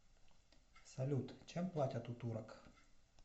салют чем платят у турок